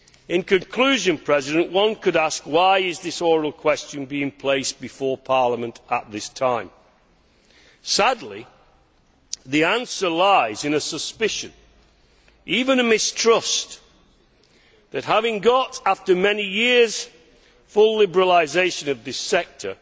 In conclusion, one could ask why this oral question is being placed before Parliament at this time. Sadly, the answer lies in a suspicion even a mistrust that having got, after many years, full liberalisation of this sector,